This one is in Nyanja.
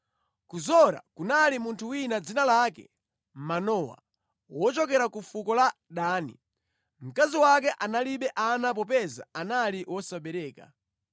Ku Zora kunali munthu wina dzina lake Manowa, wochokera ku fuko la Dani. Mkazi wake analibe ana popeza anali wosabereka.